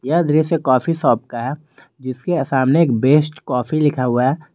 यह दृश्य coffee shop का है जिसके सामने एक बेस्ट कॉफी लिखा हुआ है।